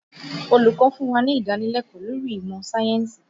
Olùkọ́ fún wá ní ìdánilẹ́kọ̀ọ́ lórí ìmọ̀ sáyẹ̀nsì